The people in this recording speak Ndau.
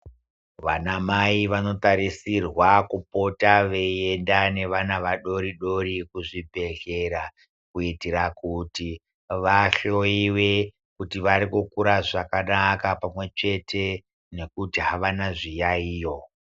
Vanamai vanotarisirwa kupota veienda nevana vadori-dori kuzvibhedhlera kuitira kuti vahloyiwe kuti vari kukura zvakanaka here pamwechete nekuti havana zviyaiyo.